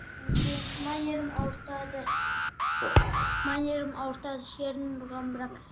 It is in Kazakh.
әкем мына жерімді ауыртады мына жерімді ауыртады ұрған бірақ